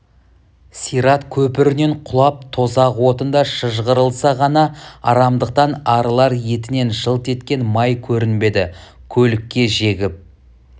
сират көпірінен құлап тозақ отында шыжғырылса ғана арамдықтан арылар етінен жылт еткен май көрінбеді көлікке жегіп